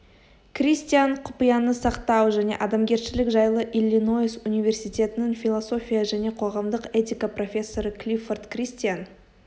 кристиан құпияны сақтау және адамгершілік жайлы иллиноис университетінің философия және қоғамдық этика профессоры клиффорд кристиан